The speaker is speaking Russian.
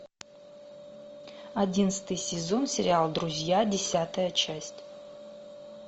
одиннадцатый сезон сериал друзья десятая часть